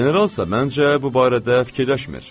Generalsa, məncə, bu barədə fikirləşmir.